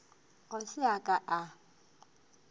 ga se a ka a